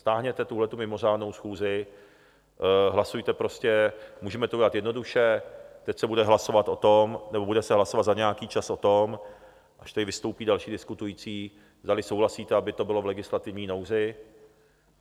Stáhněte tuhletu mimořádnou schůzi, hlasujte prostě, můžeme to udělat jednoduše, teď se bude hlasovat o tom, nebo bude se hlasovat za nějaký čas o tom, až tady vystoupí další diskutující, zdali souhlasíte, aby to bylo v legislativní nouzi.